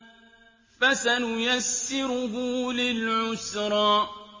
فَسَنُيَسِّرُهُ لِلْعُسْرَىٰ